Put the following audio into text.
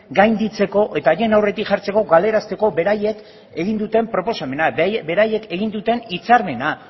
gainditzeko eta haien aurretik jartzeko galarazteko beraiek egin duten proposamena beraiek egin duten hitzarmena